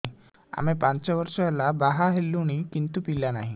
ଆମେ ପାଞ୍ଚ ବର୍ଷ ହେଲା ବାହା ହେଲୁଣି କିନ୍ତୁ ପିଲା ନାହିଁ